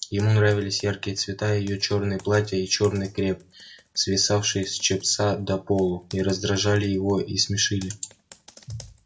ему нравились яркие цвета и её чёрные платья и чёрный креп свисавший с чепца до полу и раздражали его и смешили